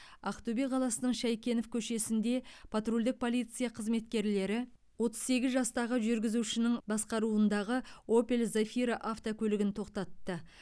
ақтөбе қаласының шайкенов көшесінде патрульдік полиция қызметкерлері отыз сегіз жастағы жүргізушінің басқаруындағы опель зафира автокөлігін тоқтатты